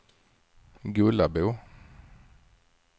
Gullabo